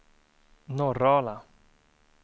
Norrala